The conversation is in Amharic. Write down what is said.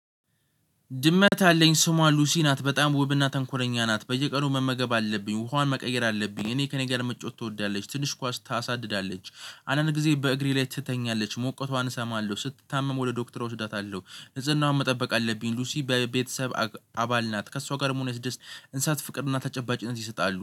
ድመት አለኝ ስሟ ሉሲ ናት በጣም ውብና ተንኮለኛ ናት በየቀኑ መመገብ አለብኝ ውሃዋን መቀየር አለብኝ። እኔ ከእኔ ጋር መጫወት ትወዳለች ትንሽ ኳስ ታሳድዳለች አንዳንድ ጊዜ በእግሬ ላይ ትተኛለች ሞቀቷን እሰማለሁ ስትታመም ወደ ዶክተር እወስዳታለሁ። ንጽህናውን መጠበቅ አለብኝ ሉሲ በቤተሰብ አባል ናት። ከእሷ ጋር ደግሞ የስደስ እንሳት ፍቅርና ተጨባጭነት ይሰጣሉ።